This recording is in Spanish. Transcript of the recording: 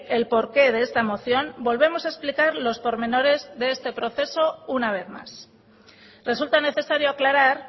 el porqué de esta moción volvemos a explicar los pormenores de este proceso una vez más resulta necesario aclarar